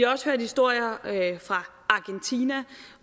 også hørt historier fra argentina